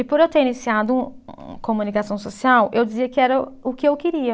E por eu ter iniciado comunicação social, eu dizia que era o que eu queria.